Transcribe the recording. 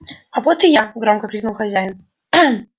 а вот и я громко крикнул хозяин